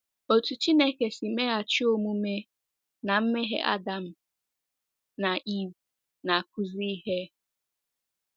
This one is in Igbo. Otú Chineke si meghachi omume ná mmehie Adam na Eve na-akụzi ihe.